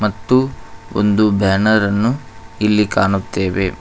ತ್ತು ಒಂದು ಬ್ಯಾನರ ನ್ನು ಇಲ್ಲಿ ಕಾಣುತ್ತೇವೆ.